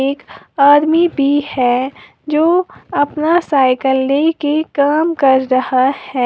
एक आदमी भी है जो अपना साइकल लेके काम कर रहा है।